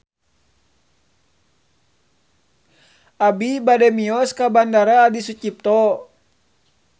Abi bade mios ka Bandara Adi Sucipto